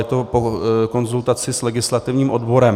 Je to po konzultaci s legislativním odborem.